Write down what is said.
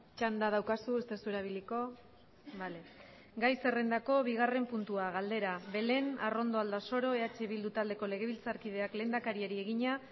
txanda daukazu ez duzu erabiliko gai zerrendako bigarren puntua galdera belén arrondo aldasoro eh bildu taldeko legebiltzarkideak lehendakariari egina